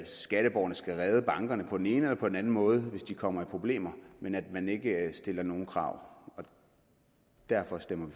skatteborgerne skal redde bankerne på den ene eller på den anden måde hvis de kommer i problemer men at man ikke stiller nogen krav og derfor stemmer